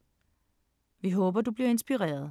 Vi håber du bliver inspireret!